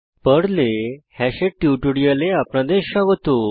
pearl Perl এ hash hash এর টিউটোরিয়ালে আপনাদের স্বাগত